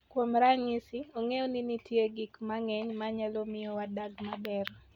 Kuom ranyisi, ong'eyo ni nitie gik mang'eny ma nyalo miyo wadag maber.